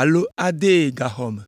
alo adee gaxɔ me.